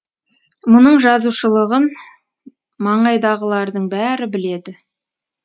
мұның жазушылығын маңайдағылардың бәрі біледі